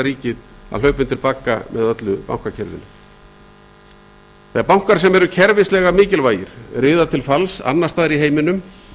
ríkið að hlaupa undir bagga með öllu bankakerfinu þegar bankar sem eru kerfislega mikilvægir riða til falls annars staðar í heiminum